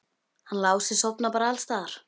Hann Lási sofnar bara alls staðar.